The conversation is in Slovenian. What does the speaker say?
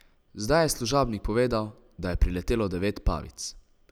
Zdaj je služabnik povedal, da je priletelo devet pavic.